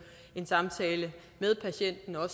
en samtale med patienten og